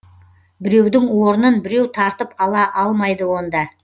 біреудің орнын біреу тартып ала алмайды онда